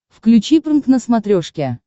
включи прнк на смотрешке